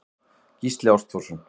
Gísli Ástþórsson.